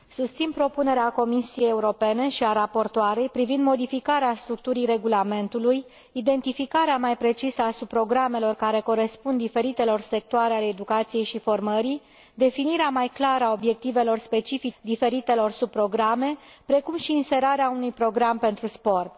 Domnule președinte, susțin propunerea Comisiei Europene și a raportoarei privind modificarea structurii regulamentului, identificarea mai precisă a subprogramelor care corespund diferitelor sectoare ale educației și formării, definirea mai clară a obiectivelor specifice atribuite diferitelor subprograme, precum și inserarea unui program pentru sport.